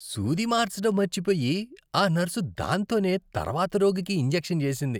సూది మార్చడం మర్చిపోయి ఆ నర్సు దాంతోనే తర్వాత రోగికి ఇంజెక్షన్ చేసింది.